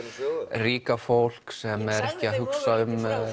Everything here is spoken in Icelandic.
ríka fólk sem er ekki að hugsa um